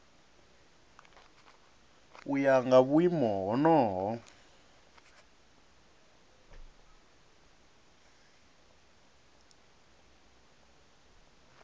u ya nga vhuimo honoho